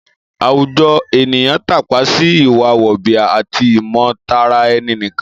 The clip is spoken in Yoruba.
Àwùjọ ènìyàn tápa sí ìwà wọ̀nbìà àti ìmọ̀tara-ẹni-nìkan